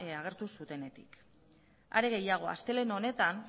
agertu zutenetik are gehiago astelehen honetan